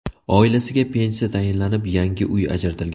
Oilasiga pensiya tayinlanib, yangi uy ajratilgan.